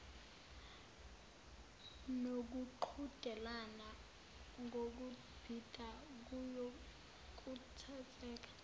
nokuqhudelana ngokubhida kuyokhuthazeka